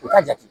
U ka jate